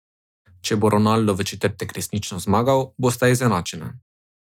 Če bo Ronaldo v četrtek resnično zmagal, bosta izenačena.